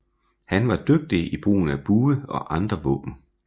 Han var dygtig i brugen af bue og andre våben